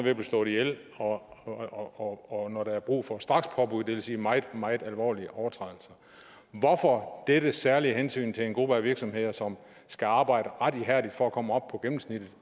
at blive slået ihjel og og når der er brug for et strakspåbud det vil sige ved meget meget alvorlige overtrædelser hvorfor dette særlige hensyn til en gruppe af virksomheder som skal arbejde ret ihærdigt for at komme op på gennemsnittet